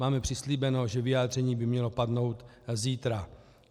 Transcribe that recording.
Máme přislíbeno, že vyjádření by mělo padnout zítra.